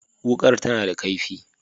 Wukar ta na da kaifi